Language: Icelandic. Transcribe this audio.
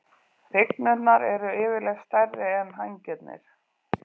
Hrygnurnar eru yfirleitt stærri en hængarnir.